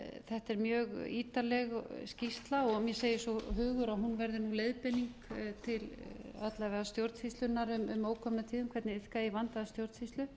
þetta er mjög ítarleg skýrsla og mér segir svo hugur að hún verði leiðbeining til alla vega stjórnsýslunnar um ókomna tíð um hvernig iðka eigi að vandaða stjórnsýslu